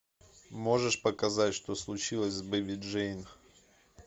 можешь показать что случилось с бэби джейн